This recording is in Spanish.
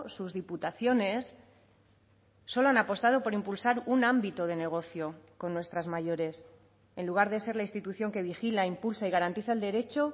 sus diputaciones solo han apostado por impulsar un ámbito de negocio con nuestras mayores en lugar de ser la institución que vigila impulsa y garantiza el derecho